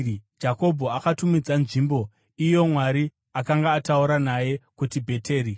Jakobho akatumidza nzvimbo iyo Mwari akanga ataura naye kuti Bheteri.